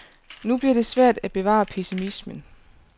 Nu bliver det svært at bevare pessimismen.